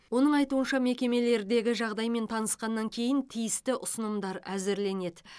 оның айтуынша мекемелердегі жағдаймен танысқаннан кейін тиісті ұсынымдар әзірленеді